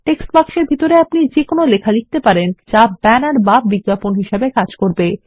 text box এর ভিতরে আপনি যে কোনো লেখা লিখতে পারেন যা একটি ব্যানার বা বিজ্ঞাপন হিসেবে কাজ করবে